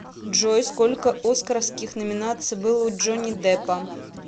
джой сколько оскаровских номинаций было у джонни деппа